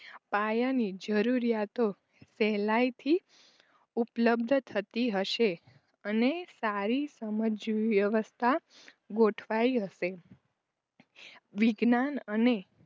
પાયાની જરૂરોયાતો સહેલાઈથી ઉપલબ્ધ થતી હશે અને સારી સમજવ્યવસ્થા ગોઠવાઈ હશે. વિજ્ઞાન અને